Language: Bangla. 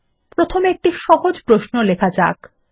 প্রথমে একটি সহজ প্রশ্ন লেখা যাক